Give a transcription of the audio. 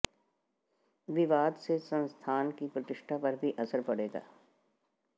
विवाद से संस्थान की प्रतिष्ठा पर भी असर पड़ेगा